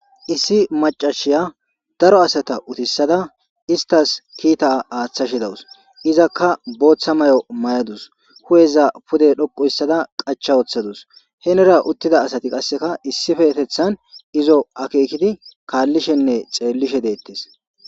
issi macashiya daro asata utissada istas kiita aaththashi dawus izakka booththa may7o may7adus hu7eza pude dhoqu ssada qacha wooththadus henera uttida asati qasseka issife atethan izo akeekidi kaallishenne xeellishe deettes